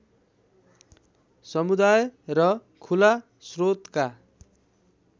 समुदाय र खुला स्रोतका